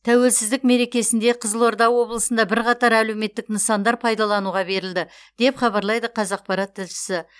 тәуелсіздік мерекесінде қызылорда облысында бірқатар әлеуметтік нысандар пайдалануға берілді деп хабарлайды қазақпарат тілшісі